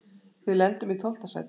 Við lendum í tólfta sæti.